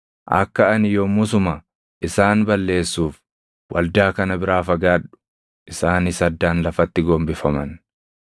“Akka ani yommusuma isaan balleessuuf, waldaa kana biraa fagaadhu.” Isaanis addaan lafatti gombifaman.